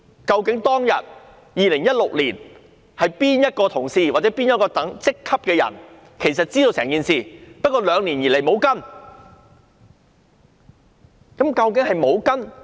究竟2016年當天有哪位同事或哪一職級的人員知道整件事情，但兩年以來也沒有跟進？